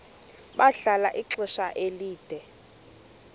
bahlala ixesha elide